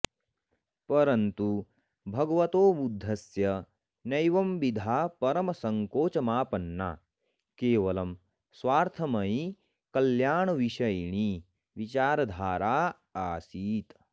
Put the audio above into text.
परन्तु भगवतो बुद्धस्य नैवंविधा परमसङ्कोचमापन्ना केवलं स्वार्थमयी कल्याणविषयिणी विचारधाराऽऽसीत्